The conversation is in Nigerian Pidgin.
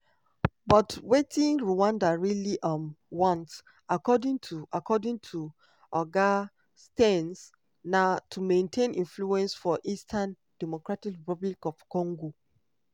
but wetin rwanda really um want according to according to oga stearns na "to maintain influence for eastern dr congo".